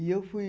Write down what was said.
E eu fui...